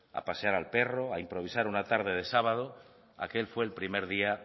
a pasear al perro a improvisar una tarde de sábado aquel fue el primer día